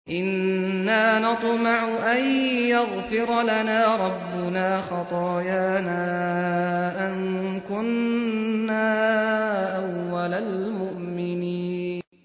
إِنَّا نَطْمَعُ أَن يَغْفِرَ لَنَا رَبُّنَا خَطَايَانَا أَن كُنَّا أَوَّلَ الْمُؤْمِنِينَ